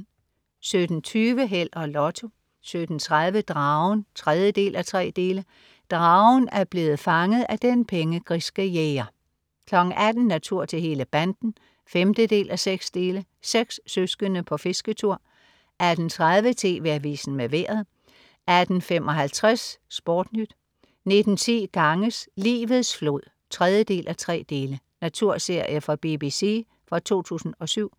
17.20 Held og Lotto 17.30 Dragen 3:3. Dragen er blevet fanget af den pengegriske jæger 18.00 Natur til hele banden 5:6. Seks søskende på fisketur 18.30 TV Avisen med Vejret 18.55 SportNyt 19.10 Ganges, livets flod 3:3. Naturserie fra BBC fra 2007